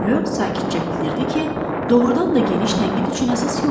Reo sakitcə bildirdi ki, doğrudan da geniş tənqid üçün əsas yoxdur.